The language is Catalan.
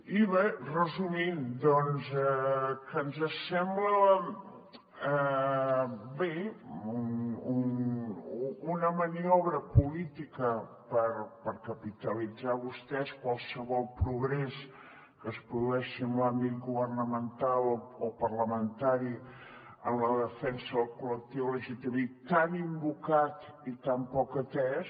i bé resumint doncs que ens sembla bé una maniobra política per capitalitzar vostès qualsevol progrés que es produeixi en l’àmbit governamental o parlamentari en la defensa del col·lectiu lgtbi tan invocat i tan poc atès